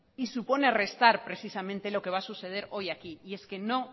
y supone restar precisamente lo que va a suceder hoy aquí y es que no